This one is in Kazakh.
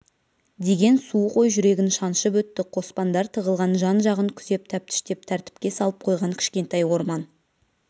деген суық ой жүрегін шаншып өтті қоспандар тығылған жан-жағын күзеп тәптіштеп тәртіпке салып қойған кішкентай орман